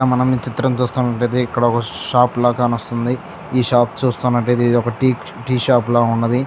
ఇక్కడ మనం ఈ చిత్రం చూస్తా ఉంటె ఇది ఇక్కడ ఒక షాప్ లా కానోస్థాన్ది ఈ షాప్ చూస్తన్నట్లైతే ఇది ఒక టి-టీ షాప్ లా ఉన్నది.